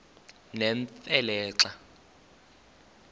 nemfe le xa